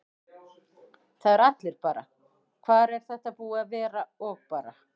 Það eru allir bara: Hvar er þetta búið að vera? og bara.